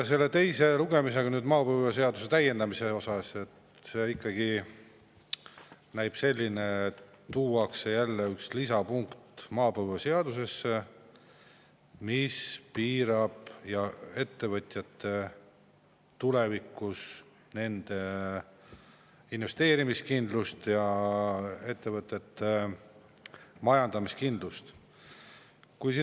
Nüüd maapõue seaduse täiendamise teise lugemise puhul ikkagi näib nii, et maapõueseadusesse tuuakse jälle üks lisapunkt, mis tulevikus piirab ettevõtjate investeerimist ja kahjustab ettevõtete majandamiskindlust.